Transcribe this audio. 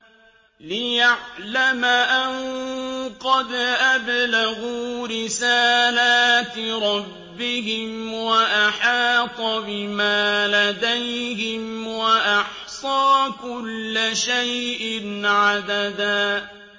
لِّيَعْلَمَ أَن قَدْ أَبْلَغُوا رِسَالَاتِ رَبِّهِمْ وَأَحَاطَ بِمَا لَدَيْهِمْ وَأَحْصَىٰ كُلَّ شَيْءٍ عَدَدًا